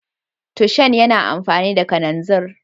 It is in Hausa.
Tushen yana amfani da kananzir